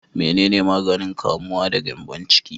Menene maganin kamuwa da gyambon ciki?